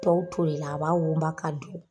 Tɔw tolila a b'a wonba k'a dun